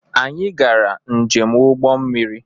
Anyị gara njem ụgbọ mmiri.